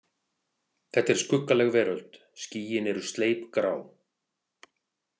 Þetta er skuggaleg veröld, skýin eru sleipgrá.